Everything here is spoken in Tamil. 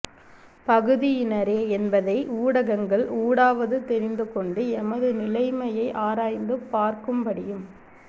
பகுதியினரே என்பதை ஊடகங்கள் ஊடாவது தெரிந்து கொண்டு எமது நிலைமையை ஆராய்ந்து பார்க்கும்படியும்